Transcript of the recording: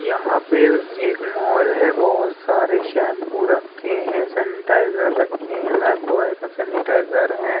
यहाँ पे एक मॉल है। बहोत सारे शैम्पू रखे हैं। सेनिटाइजर रखे हैं। लाइफबॉय का सेनिटाइजर है।